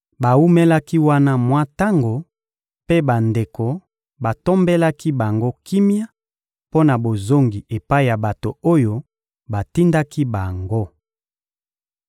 Bawumelaki wana mwa tango, mpe bandeko batombelaki bango kimia mpo na bozongi epai ya bato oyo batindaki bango. [ 34 Kasi Silasi asepelaki kotikala wana.]